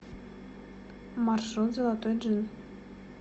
маршрут золотой джин